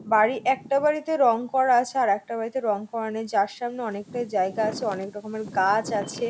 বাড়ি একটা বাড়িতে রং করা আছে আর একটা বাড়িতে রং করা নেই যার সামনে অনেকটাই জায়গা আছে অনেক রকমের গাছ আছে ।